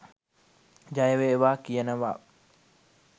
ජයවේවා කියනවා